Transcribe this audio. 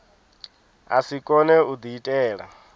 a si kone u diitela